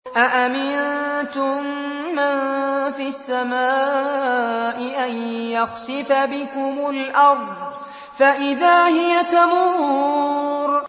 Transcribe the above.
أَأَمِنتُم مَّن فِي السَّمَاءِ أَن يَخْسِفَ بِكُمُ الْأَرْضَ فَإِذَا هِيَ تَمُورُ